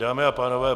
Dámy a pánové.